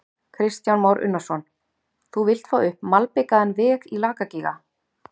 Kristján Már Unnarsson: Þú vilt fá upp malbikaðan veg í Lakagíga?